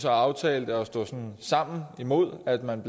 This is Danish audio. aftalte at stå sammen imod at man